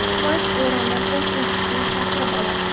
Kuvayt Erondan o‘z elchisini chaqirib oladi.